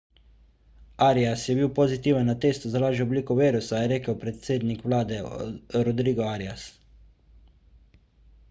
arias je bil pozitiven na testu za lažjo obliko virusa je rekel predsednik vlade rodrigo arias